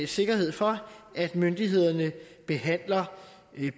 sikkerhed for at myndighederne behandler